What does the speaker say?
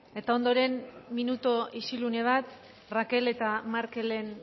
eta ondoren minutu isilune bat raquel eta markelen